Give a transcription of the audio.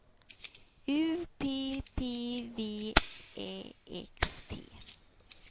U P P V Ä X T